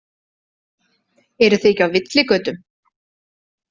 Eruð þið ekki á villigötum?